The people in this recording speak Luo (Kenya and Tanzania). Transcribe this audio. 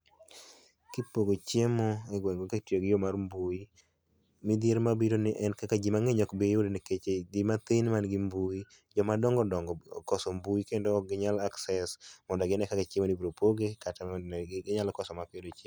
Kipogo chiemo e gweng' kitiyo gi yoo mar mbui, midhiero mabiro en ni kaka jii mang'eny ok biyudo nikech jii mathin man gi mbui joma dong'o dong'o okoso mbui kendo ok gi nyal access mondo ginee kaka chiemo ni ibro poge kata gi nyalo koso mak gi yudo.